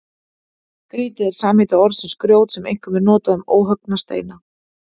Grýti er samheiti orðsins grjót sem einkum er notað um óhöggna steina.